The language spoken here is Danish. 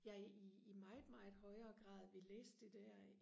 jeg i meget meget højere grad vil læse det der